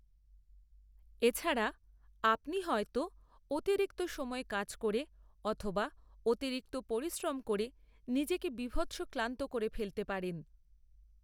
এ ছাড়া, আপনি হয়তো অতিরিক্ত সময় কাজ করে অথবা অতিরিক্ত পরিশ্রম করে নিজেকে বীভৎস ক্লান্ত করে ফেলতে পারেন।